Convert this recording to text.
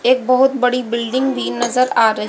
एक बहोत बड़ी बिल्डिंग भी नजर आ र--